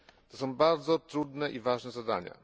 To są bardzo trudne i ważne zadania.